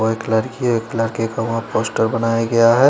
White colour की एक lakh poster बनाया गया है।